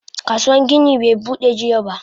Kasuwan gini be Bude jiya ba.